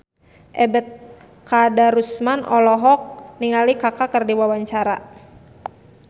Ebet Kadarusman olohok ningali Kaka keur diwawancara